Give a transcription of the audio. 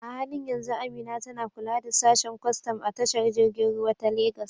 A halin yanzu Amina tana kula da sashen kwastam a tashar jirgin ruwa ta Legas.